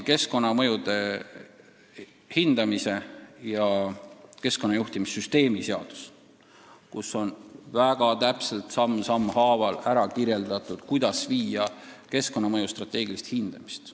Keskkonnamõju hindamise ja keskkonnajuhtimissüsteemi seaduses on väga täpselt, samm sammu haaval kirjas, kuidas viia läbi keskkonnamõju strateegilist hindamist.